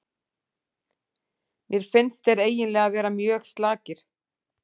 Mér finnst þeir eiginlega vera mjög slakir.